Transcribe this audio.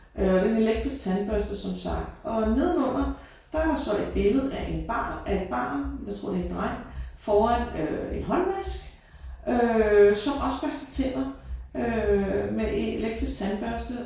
Øh og det er en elektrisk tandbørste som sagt og nedenunder der er der så et billede af en barn af et barn. Jeg tror det er en dreng foran øh en håndvask øh som også børster tænder øh med en elektrisk tandbørste